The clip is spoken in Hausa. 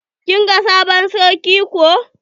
Kin ga sabon sarki ko?